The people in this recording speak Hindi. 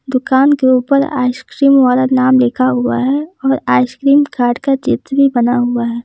दुकान के ऊपर आइसक्रीम वाला नाम लिखा हुआ है और आइसक्रीम कार्ट का चित्र भी बना हुआ है।